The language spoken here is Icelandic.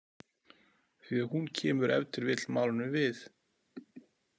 Því að hún kemur ef til vill málinu við.